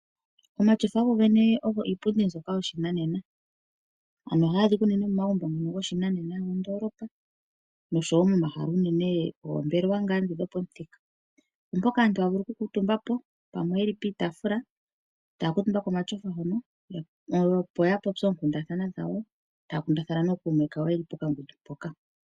Omatyofa ogo iipundi mbyoka yoshinanena. Oha ga adhika unene momagumbo ngoka goshinanena mondoolopa, oshowo momahala ngaashi moombelewa dhopamuthika, mpoka aantu ta ya vulu okukuutumba po, pamwe ye li pitaafula taya kuutumba komatyofa hoka opo ya kundathane nokuume kayo, ye li pokangundu.